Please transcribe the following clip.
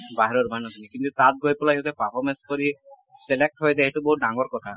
বাহিৰৰ মানুহখিনি । কিন্তু তাত গৈ পেলাই যদি performance কৰি select হৈ যায় এইটো বহুত ডাঙৰ কথা